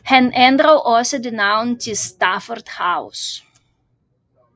Han ændrede også dets navn til Stafford House